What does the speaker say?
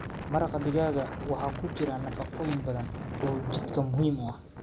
Maraqa digaaga waxa ku jira nafaqooyin badan oo jidhka muhiim u ah.